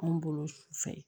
Anw bolo sufɛ